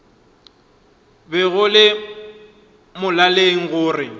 be go le molaleng gore